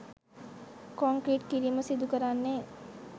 concrete කිරීම සිදුකරන්නේ